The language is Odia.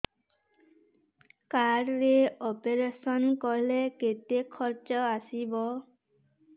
କାର୍ଡ ରେ ଅପେରସନ କଲେ କେତେ ଖର୍ଚ ଆସିବ